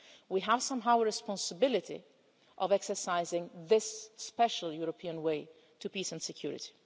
We have somehow the responsibility of exercising this special European way to peace and security.